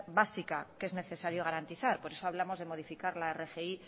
básica que es necesario garantizar por eso hablamos de modificar la rgi